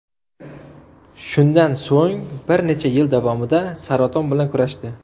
Shundan so‘ng bir necha yil davomida saraton bilan kurashdi.